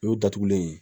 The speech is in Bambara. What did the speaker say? O datugulen